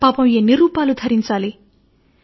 పాపం ఎన్ని రూపాలు ధరించాలి